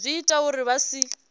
zwi ita uri vha si